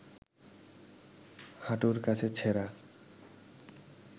হাঁটুর কাছে ছেঁড়া